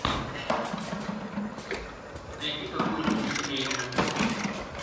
найди какую нибудь комедию